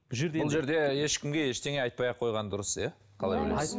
бұл жерде бұл жерде ешкімге ештеңе айтпай ақ қойған дұрыс иә қалай ойлайсыз